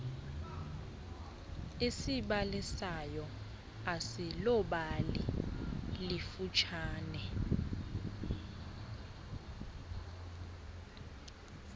esibalisayo asiloobali lifutshane